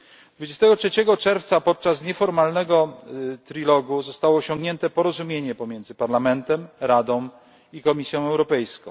23 czerwca podczas nieformalnego trilogu zostało osiągnięte porozumienie pomiędzy Parlamentem, Radą i Komisją Europejską.